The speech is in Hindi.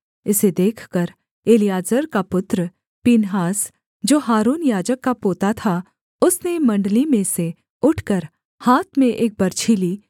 इसे देखकर एलीआजर का पुत्र पीनहास जो हारून याजक का पोता था उसने मण्डली में से उठकर हाथ में एक बरछी ली